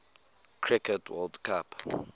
cricket world cup